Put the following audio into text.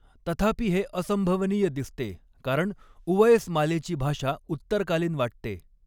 तथापि हे असंभवनीय दिसते कारण उवएसमालेची भाषा उत्तरकालीन वाटते.